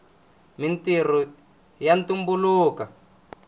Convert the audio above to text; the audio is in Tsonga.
mintrho ya tumbuluka